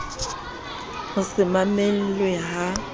ho se mamelwe le ha